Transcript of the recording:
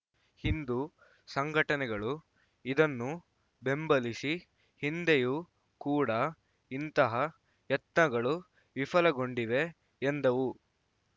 ಹಿಂದೂ ಸಂಘಟನೆಗಳು ಇದನ್ನು ಬೆಂಬಲಿಸಿ ಹಿಂದೆಯೂ ಕೂಡ ಇಂತಹ ಯತ್ನಗಳು ವಿಫಲಗೊಂಡಿವೆ ಎಂದವು